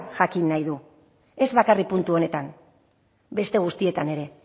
jakin nahi du ez bakarrik puntu honetan beste guztietan ere